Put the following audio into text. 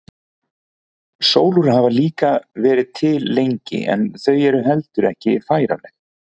Sólúr hafa líka verið til lengi en þau eru heldur ekki færanleg.